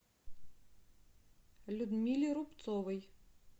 людмиле рубцовой